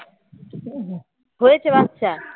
হয়েছে বাচ্চা?